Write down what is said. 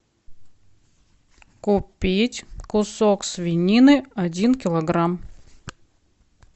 купить кусок свинины один килограмм